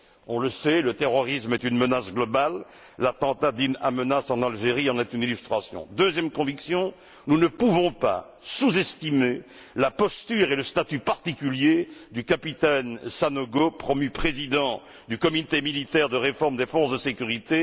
On le sait, le terrorisme est une menace globale. L'attentat d'Im Amenas en Algérie en est une illustration. Ma deuxième conviction est que nous ne pouvons pas sous estimer la posture et le statut particulier du capitaine Sanogo, promu président du comité militaire de réforme des forces de sécurité.